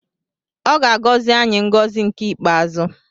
Ọ ga-agọzi anyị ngọzi nke ikpeazụ.